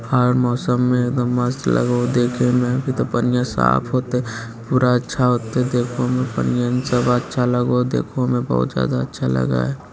हर मौसम में एकदम मस्त लगो हेय देखे मे अभी ते पनिया साफ होअते पूरा अच्छा होअते देखा में बनियान सब अच्छा लगा देखो में बहुत ज्यादा अच्छा लगए हेय।